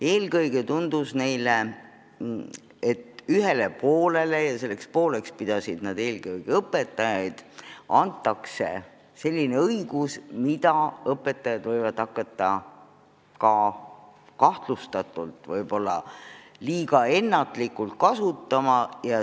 Eelkõige tundus neile, et ühele poolele – ja selleks pooleks pidasid õpilased õpetajaid – antakse õigus, mida õpetajad võivad hakata liiga kerge käega kasutama.